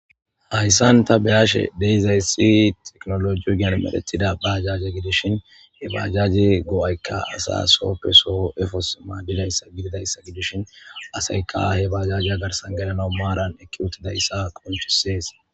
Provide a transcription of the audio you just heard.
Hayssan ta be'ashe de'izayssi tekinolojera medhetida bajaje gidishin he bajaje go'aykka asa sooppe soo efos maadizayssa gidishin asaykka he bajaje garssan gelena maaran eqqi uttidayssa qonccisees.